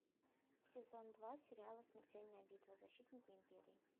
сезон два сериала смертельная битва защитники империи